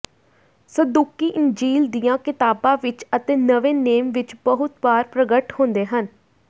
ਸਦੂਕੀ ਇੰਜੀਲ ਦੀਆਂ ਕਿਤਾਬਾਂ ਵਿਚ ਅਤੇ ਨਵੇਂ ਨੇਮ ਵਿਚ ਬਹੁਤ ਵਾਰ ਪ੍ਰਗਟ ਹੁੰਦੇ ਹਨ